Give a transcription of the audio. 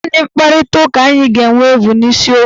Naanị mkparitaụka anyị ga-enwe bụ n'isiokwu